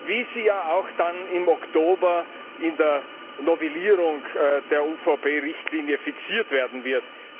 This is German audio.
wie sie ja auch dann im Oktober in der Novellierung der UVP Richtlinie fixiert werden wird.